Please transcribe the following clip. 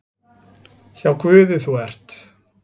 Hjá Guði þú ert.